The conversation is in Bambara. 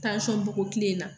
bɔko tile in na